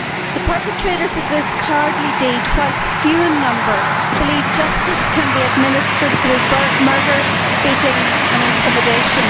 The perpetrators of this cowardly deed, whilst few in number, believe justice can be administered through murder, beatings and intimidation.